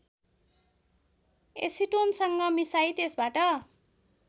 एसिटोनसँग मिसाई त्यसबाट